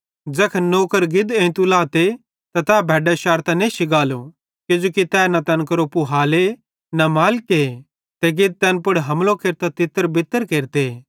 ज़ैखन नौकर गिद एंइतू लाते त तै भैड्डां शैरतां नेश्शी गालो किजोकि तै तैन केरो न पूहाले न मालिके ते गिद तैन पुड़ हमलो केरतां तितरबितर केरते